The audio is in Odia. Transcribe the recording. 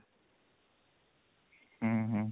ହୁଁ ହୁଁ